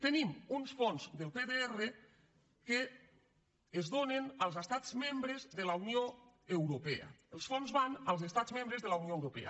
tenim uns fons del pdr que es donen als estats membres de la unió europea els fons van als estats membres de la unió europea